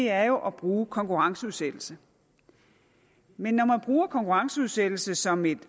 er jo at bruge konkurrenceudsættelse men når man bruger konkurrenceudsættelse som et